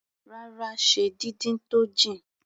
Rárá, ṣe díndín tó jìn.